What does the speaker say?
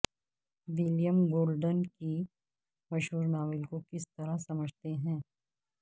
William Golding کے مشہور novel کو کس طرح سمجھتے ہیں